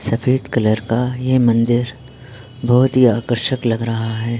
सफ़ेद कलर का ये मंदिर बहुत ही आकर्षित लग रहा है।